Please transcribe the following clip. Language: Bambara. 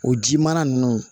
O ji mara ninnu